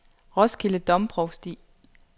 Roskilde Domprovsti